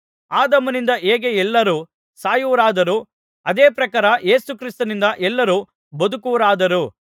ಆದಾಮನಿಂದ ಹೇಗೆ ಎಲ್ಲರೂ ಸಾಯುವವರಾದರೋ ಅದೇ ಪ್ರಕಾರ ಯೇಸು ಕ್ರಿಸ್ತನಿಂದ ಎಲ್ಲರೂ ಬದುಕುವವರಾದರು